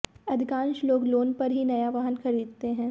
अधिकांश लोग लोन पर ही नया वाहन खरीदते हैं